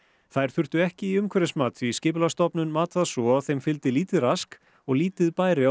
þær þurftu ekki í umhverfismat því Skipulagsstofnun mat það svo að þeim fylgdi lítið rask og lítið bæri á